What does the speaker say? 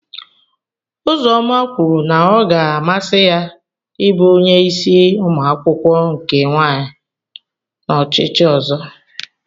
Uzoma kwuru na ọ ga-amasị ya ịbụ onye isi umuakwukwo nke nwanyị n'ochichi ozo.